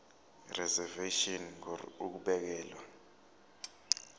reservation ngur ukubekelwa